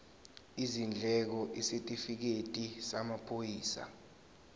izindleko isitifikedi samaphoyisa